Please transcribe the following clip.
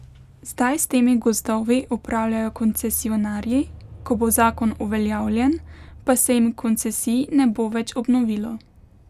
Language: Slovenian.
Zdaj s temi gozdovi upravljajo koncesionarji, ko bo zakon uveljavljen, pa se jim koncesij ne bo več obnovilo.